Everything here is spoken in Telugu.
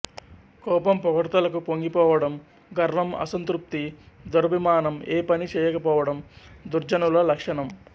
కోపం పొగడ్తలకు పొంగి పోవడం గర్వం అసంతృప్తి దురభిమానం ఏ పనీ చేయక పోవడం దుర్జనుల లక్షణం